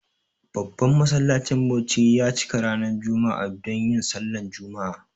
Babban masallacin Bauchi ya cika ranar jumma'a donyin sallah jumma'a.